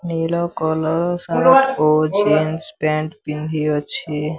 Yellow collar ଓ shirt jeans pant ପିନ୍ଧିଅଛି।